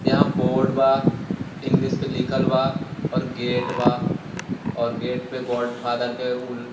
यहाँ बोर्ड बा इंगलिश पे लिखल बा और गेट बा और गेट पे गॉडफ़ादर के उ --